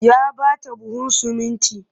Ya ba ta buhun sumunti